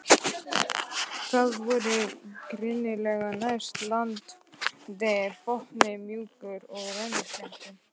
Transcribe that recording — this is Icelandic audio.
Það voru grynningar næst landi, botninn mjúkur og rennisléttur.